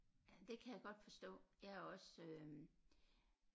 Ja det kan jeg godt forstå jeg er også øh